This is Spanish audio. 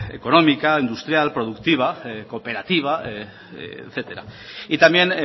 económica industrial productiva cooperativa etcétera y también